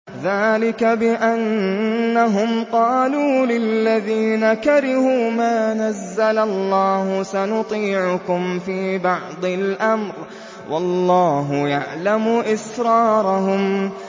ذَٰلِكَ بِأَنَّهُمْ قَالُوا لِلَّذِينَ كَرِهُوا مَا نَزَّلَ اللَّهُ سَنُطِيعُكُمْ فِي بَعْضِ الْأَمْرِ ۖ وَاللَّهُ يَعْلَمُ إِسْرَارَهُمْ